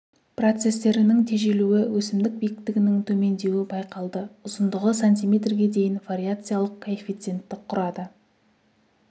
процестерінің тежелуі өсімдік биіктігінің төмендеуі байқалды ұзындығы сантиметрге дейін вариациялық коэффициенті құрады